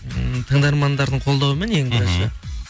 м тыңдармандардың қолдауымен ең бірінші